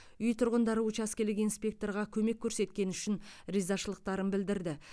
үй тұрғындары учаскелік инспекторға көмек көрсеткені үшін ризашылықтарын білдірді